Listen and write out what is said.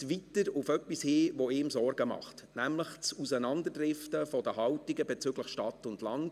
Weiter weist er auf etwas hin, das ihm Sorgen macht, nämlich das Auseinanderdriften der Haltungen bezüglich Stadt und Land.